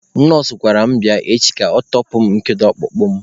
Nọọsụ gwara mụ bịa echi ka ọ tọpụ nkedo ọkpụkpụ mụ.